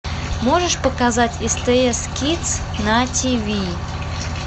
можешь показать стс кидс на тиви